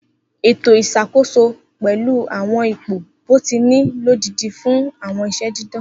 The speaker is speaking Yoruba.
Eto iṣakoso pẹlu awọn ipo bọtini lodidi fun awọn iṣẹ didan.